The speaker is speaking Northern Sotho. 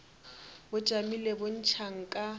bo tšamile bo ntšha nka